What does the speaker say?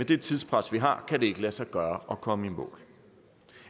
det tidspres vi har kan det ikke lade sig gøre at komme i mål